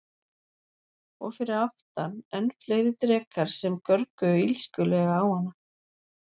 Og fyrir aftan enn fleiri drekar sem görguðu illskulega á hana.